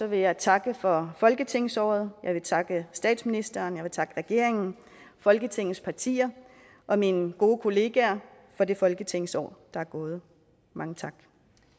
jeg takke for folketingsåret jeg vil takke statsministeren og jeg vil takke regeringen folketingets partier og mine gode kollegaer for det folketingsår der er gået mange tak